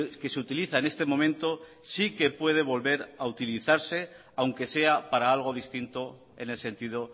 que se utiliza en este momento sí que puede volver a utilizarse aunque sea para algo distinto en el sentido